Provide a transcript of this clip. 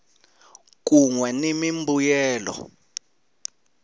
kun we ni mimbuyelo